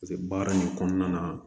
Paseke baara nin kɔnɔna na